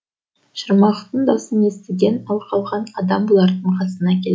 шырмақтың даусын естіген ал қалған адам бұлардың қасына келді